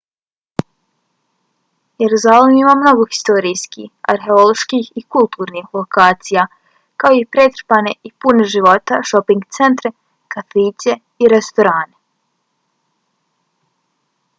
jeruzalem ima mnogo historijskih arheoloških i kulturnih lokacija kao i pretrpane i pune života šoping centre kafiće i restorane